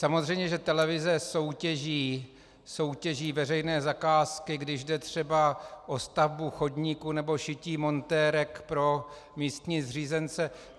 Samozřejmě že televize soutěží veřejné zakázky, když jde třeba o stavbu chodníku nebo šití montérek pro místní zřízence.